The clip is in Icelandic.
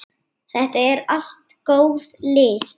Þetta eru allt góð lið.